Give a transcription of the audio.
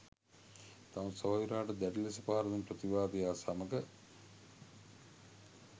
තම සොයුරාට දැඩි ලෙස පහර දුන් ප්‍රතිවාදියා සමග